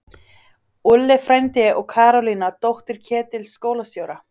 Úlli frændi og Karólína, dóttir Ketils skólastjóra!